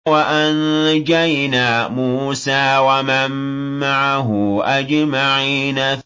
وَأَنجَيْنَا مُوسَىٰ وَمَن مَّعَهُ أَجْمَعِينَ